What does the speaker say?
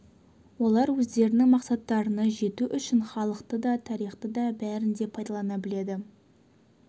олар өздерінің мақсаттарына жету үшін халықты да тарихты да бәрін де пайдалана біледі